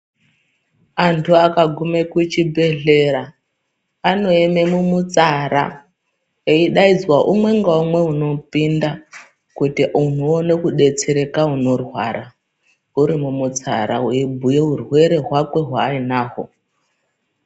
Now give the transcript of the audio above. Antu akaguma kuchibhedhlera anoema mumutsara eidaidzwa umwe ngaumwe unopinda kuti munhu uone kudetsereka unorwara uri mumutsara weibhuya urwere hwakwe hwaainahwo.